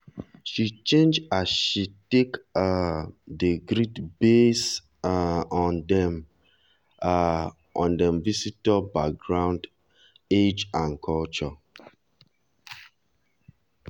she change as she take um dey greet base um on dem um on dem visitor backgroundage and culture.